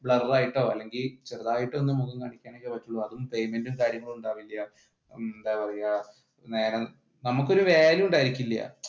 blur ആയിട്ടോ അല്ലെങ്കിൽ ചെറുതായിട്ട് ഒന്ന് മുഖം കാണിക്കാം